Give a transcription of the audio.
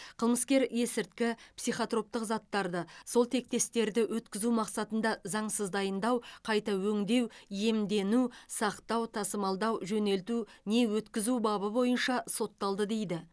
қылмыскер есірткі психотроптық заттарды сол тектестерді өткізу мақсатында заңсыз дайындау қайта өңдеу иемдену сақтау тасымалдау жөнелту не өткізу бабы бойынша сотталды дейді